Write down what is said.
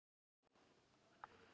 Elsku Björg.